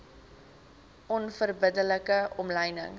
onverbidde like omlynings